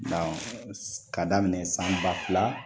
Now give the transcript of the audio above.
ka daminɛ san ba fila